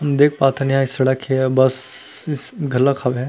देख पा थन ये ह सड़क हे आऊ बस स स बस घलोक हावय।